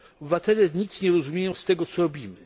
Obywatele nic nie rozumieją z tego, co robimy.